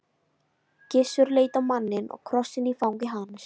Gissur leit á manninn og krossinn í fangi hans.